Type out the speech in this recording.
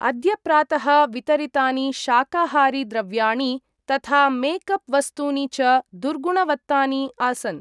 अद्य प्रातः वितरितानि शाकाहारी द्रव्याणि तथा मेक् अप् वस्तूनि च दुर्गुणवत्तानि आसन्।